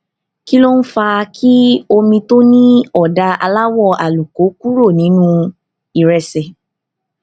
kí ló ń fa kí omi tó ní ọdà aláwọ àlùkò kúrò nínú ìrẹsè